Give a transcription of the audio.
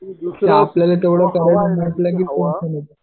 आपल्याला तेवढं करायचं म्हंटलं की टेन्शन येतं